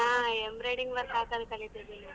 ಹಾ embroidering work ಹಾಕದ್ ಕಲಿತಿದೀನಿ.